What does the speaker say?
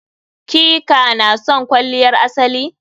ki/ka na son kwalliyar asali?